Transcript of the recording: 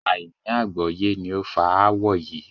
Àìní àgbọ́yé ni ó fa ááwọ̀ yí